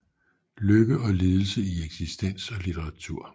Lykke og lidelse i eksistens og litteratur